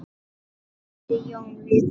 vildi Jón vita.